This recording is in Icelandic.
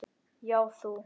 Já, þú!